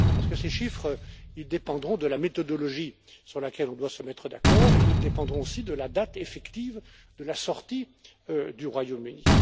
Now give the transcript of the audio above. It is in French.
Parce que ces chiffres dépendront de la méthodologie sur laquelle on doit se mettre d'accord et ils dépendront aussi de la date effective de la sortie du Royaume Uni.